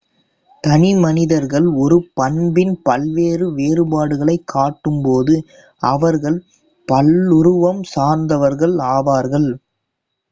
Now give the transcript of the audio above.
தனி மனிதர்கள் ஒரு பண்பின் பல்வேறு வேறுபாடுகளைக் காட்டும் போது அவர்கள் பல்லுருவம் சார்ந்தவர்கள் ஆவார்கள்